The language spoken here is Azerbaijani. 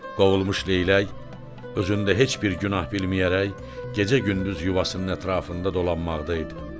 Qovulmuş Leylək özündə heç bir günah bilməyərək gecə-gündüz yuvasının ətrafında dolanmaqdaydı.